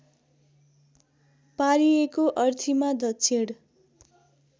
पारिएको अर्थीमा दक्षिण